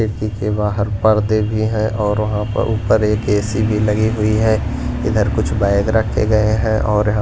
AC के बाहर पर्दे भी है और वहां पर ऊपर एक एसी भी लगी हुई है इधर कुछ बैग रखे गए हैं और--